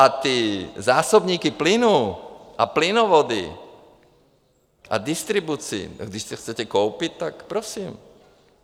A ty zásobníky plynu a plynovody a distribuci, když to chcete koupit, tak prosím.